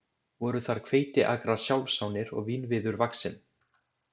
Voru þar hveitiakrar sjálfsánir og vínviður vaxinn.